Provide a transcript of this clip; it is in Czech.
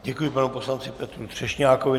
Děkuji panu poslanci Petru Třešňákovi.